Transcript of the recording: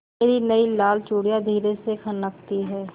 मेरी नयी लाल चूड़ियाँ धीरे से खनकती हैं